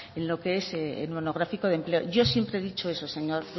en lo que es el monográfico de empleo yo siempre he dicho eso señor